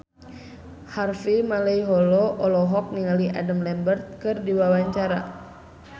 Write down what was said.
Harvey Malaiholo olohok ningali Adam Lambert keur diwawancara